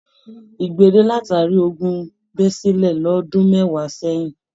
Igbele latari ogún bẹ sílẹ̀ l'ọdun mẹwa sẹyìn